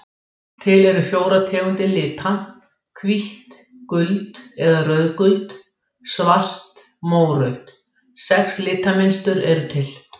Til eru fjórar tegundir lita: hvítt gult eða rauðgult svart mórautt Sex litmynstur eru til.